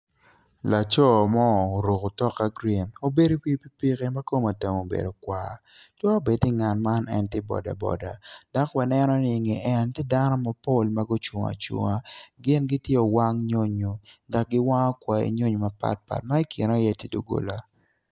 Laco mo oruko otok ma green obedo i wi pikipiki ma kwar twero bedo ni ngat man en tye bodaboda dok waneno ni i nge en tye dano mapol ma gucung acunga gin gitye owang nyonyo ma giwango kwanyi nyonyo mapatpat ma i kine tye iye doggola